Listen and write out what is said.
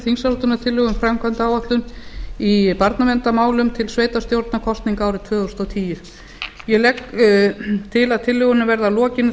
þingsályktunartillögu um framkvæmdaáætlun í barnaverndarmálum til sveitarstjórnarkosninga árið tvö þúsund og tíu ég legg til að tillögunum verði að lokinni